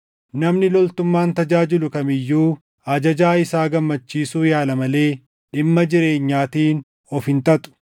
Namni loltummaan tajaajilu kam iyyuu ajajaa isaa gammachiisuu yaala malee dhimma jireenyaatiin of hin xaxu.